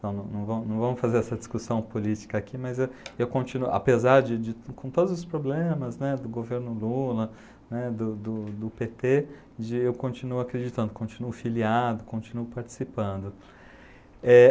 Não não não vamos fazer essa discussão política aqui, mas eu eu continuo, apesar de de, com todos os problemas né, do governo Lula né, do do do do pê tê, de eu continuo acreditando, continuo filiado, continuo participando. Eh...